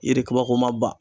yiri kabako ma bɛ.